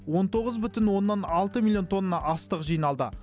он тоғыз бүтін оннан алты миллион тонна астық жиналды